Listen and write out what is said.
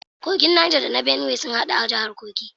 Kogin Niger da na Benue sun hadu a jahar Kogi